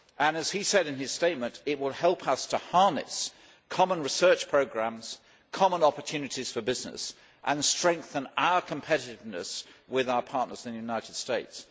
As he said in his statement, it will help us to harness common research programmes, common opportunities for business, and strengthen our competitiveness with our partners in the United States.